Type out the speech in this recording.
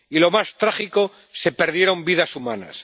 Y, lo más trágico, se perdieron vidas humanas.